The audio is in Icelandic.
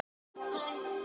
Ómar þakkar framlögin